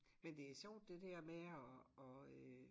Men det er sjovt det dér med at at øh